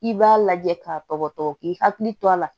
I b'a lajɛ k'a tɔgɔtɔ k'i hakili to a la